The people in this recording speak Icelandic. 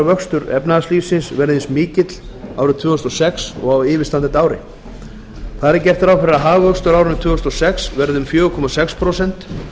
vöxtur efnahagslífsins verði eins mikill árið tvö þúsund og sex og á yfirstandandi ári þar er gert ráð fyrir að hagvöxtur á árinu tvö þúsund og sex verði um fjóra komma sex prósent